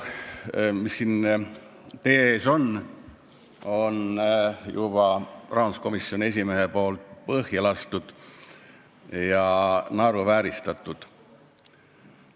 Eelnõu, mis siin teie ees on, on rahanduskomisjoni esimees juba naeruvääristanud ja põhja lasknud.